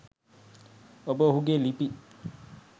ඔබ ඔහුගේ ලිපි